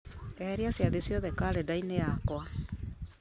eheria ciathĩ ciothe karenda-inĩ yakwa